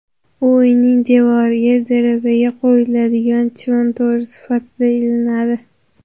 U uyning devoriga derazaga qo‘yiladigan chivin to‘ri sifatida ilinadi.